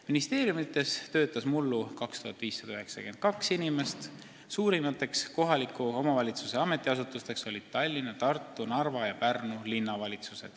Ministeeriumides töötas mullu 2592 inimest, suurimad kohaliku omavalitsuse ametiasutused olid Tallinna, Tartu, Narva ja Pärnu linnavalitsus.